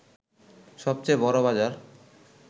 সবচেয়ে বড় বাজার